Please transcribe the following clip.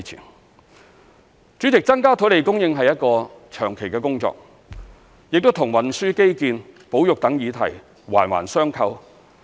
代理主席，增加土地供應是一項長期的工作，亦與運輸基建、保育等議題環環相扣。